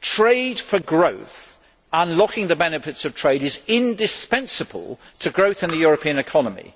trade for growth unlocking the benefits of trade is indispensible to growth in the European economy.